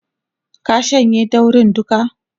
ka shanye daurin duka!